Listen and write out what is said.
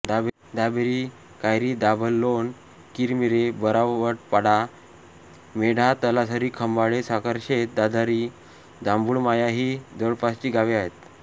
दाभेरी कायरीदाभलोण किरमिरे बारावडपाडा मेढा तलासरी खंबाळे साखरशेत दाधारी जांभुळमाया ही जवळपासची गावे आहेत